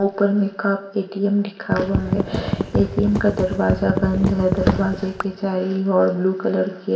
ऊपर में कप ए_टी_एम लिखा हुआ है ए_टी_एम का दरवाजा बंद है दरवाजे के चारी और ब्लू कलर ए--